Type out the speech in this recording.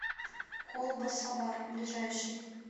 колба сабар ближайший